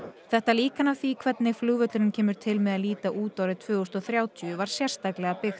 þetta líkan af því hvernig flugvöllurinn kemur til með að líta út árið tvö þúsund og þrjátíu var sérstaklega byggt